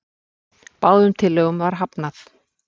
Báðum tillögum var hafnað.